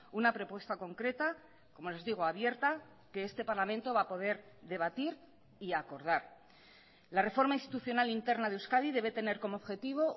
una propuesta concreta como les digo abierta que este parlamento va a poder debatir y acordar la reforma institucional interna de euskadi debe tener como objetivo